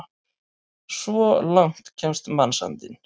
Svo langt kemst mannsandinn!